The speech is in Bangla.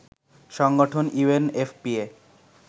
সংগঠন ইউএনএফপিএ